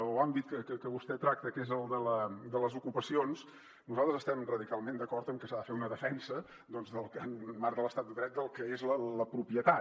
o àmbit que vostè tracta que és el de les ocupacions nosaltres estem radicalment d’acord en que s’ha de fer una defensa en el marc de l’estat de dret del que és la propietat